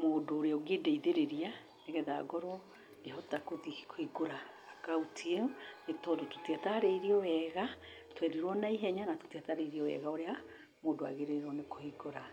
mũndũ ũrĩa ũngĩndeithĩrĩria nĩgetha ngorwo ngĩhota gũthi kũhingũra akaunti ĩyo nĩ tondũ tũtiatarĩirio wega, twerirwo naihenya na tũtiatarĩirio wega ũrĩa mũndũ agĩrĩirwo nĩ kũhingũra.